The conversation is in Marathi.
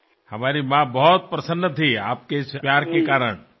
तुम्ही व्यक्त केलेल्या स्नेहामुळे माझ्या आईला फार आनंद झाला